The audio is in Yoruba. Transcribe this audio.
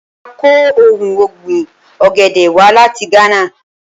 Mo máa kọ ohun ọ̀gbìn ọ̀gẹ̀dẹ̀ wá láti Gánà.